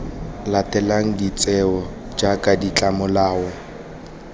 latelang de tsewa jaaka ditlomolao